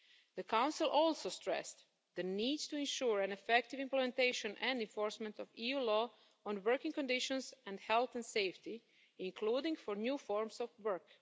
The Council also stressed the need to ensure an effective implementation and enforcement of EU law on working conditions and health and safety, including for new forms of work.